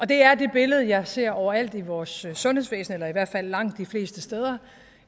det er det billede jeg ser overalt i vores sundhedsvæsen eller i hvert fald langt de fleste steder